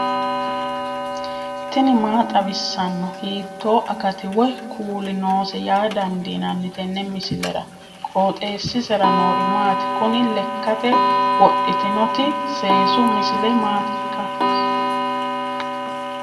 tini maa xawissanno ? hiitto akati woy kuuli noose yaa dandiinanni tenne misilera? qooxeessisera noori maati? kuni lekkate wodhitinnoti seesu misile mmaatikka